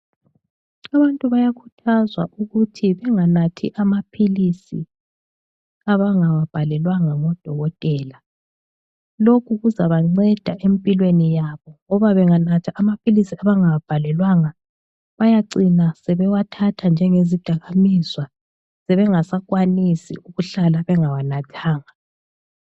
Abantu bayakhuthazwa ukuthi benganathi amaphilisi abangawabhalelwanga ngodokotela lokhu kuzabanceda empilweni yabo ngoba benganatha amaphilisi abangawabhalelwanga bayacina sebewathatha njengezidakamizwa sebengasakwanisi ukuhlala bengawanathanga.